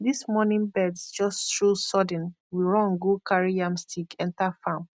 this morning birds just show sudden we run go carry yam stick enter farm